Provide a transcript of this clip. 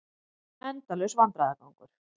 Endalaus vandræðagangur.